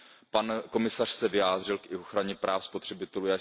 Pan komisař se vyjádřil i k ochraně práv spotřebitelů.